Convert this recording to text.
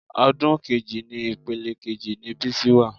Odun kejì ni ìpele kejì ni Bísí wà